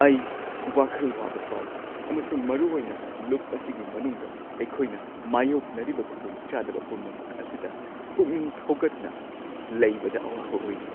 ꯑꯩ ꯋꯥꯈꯜ ꯋꯥꯕ ꯐꯥꯎꯏ ꯑꯃꯁꯨꯡ ꯃꯔꯨꯑꯣꯏꯅ ꯂꯨꯞ ꯑꯁꯤꯒꯤ ꯃꯅꯨꯡꯗ ꯑꯩꯈꯣꯏꯅ ꯃꯥꯌꯣꯛꯅꯔꯤꯕ ꯈꯨꯗꯣꯡꯆꯥꯗꯕ ꯄꯨꯝꯅꯃꯛ ꯑꯁꯤꯗ ꯄꯨꯛꯅꯤꯡ ꯊꯧꯒꯠꯅ ꯂꯩꯕꯗ ꯑꯋꯥꯕ ꯑꯣꯏꯔꯤ꯫